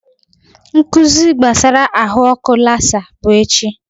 Nkụzi gbasara ahụ ọkụ lasa bụ echi